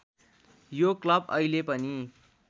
यो क्लब अहिले पनि